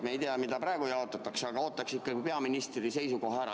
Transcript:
Me ei tea, mida praegu jaotatakse, aga ootaks ikkagi peaministri seisukoha ära.